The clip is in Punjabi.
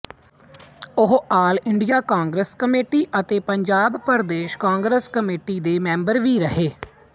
ਉਹ ਆਲ ਇੰਡੀਆ ਕਾਂਗਰਸ ਕਮੇਟੀ ਅਤੇ ਪੰਜਾਬ ਪ੍ਰਦੇਸ਼ ਕਾਂਗਰਸ ਕਮੇਟੀ ਦੇ ਮੈਂਬਰ ਵੀ ਰਹੇ